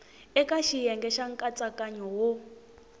eka xiyenge xa nkatsakanyo wo